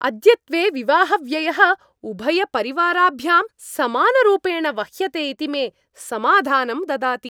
अद्यत्वे विवाहव्ययः उभयपरिवाराभ्यां समानरूपेण वह्यते इति मे समाधानं ददाति।